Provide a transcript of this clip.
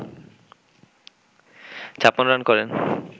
৫৬ run করেন